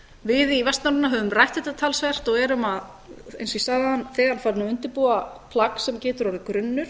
við í vestnorræna höfum rætt þetta talsvert og erum eins og ég sagði áðan þegar farin að undirbúa plagg sem getur orðið grunnur